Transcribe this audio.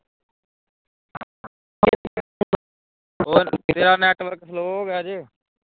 ਹੋਰ ਤੇਰਾ network slow ਹੋ ਗਿਆ ਜੇ